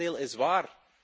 Het tegendeel is waar.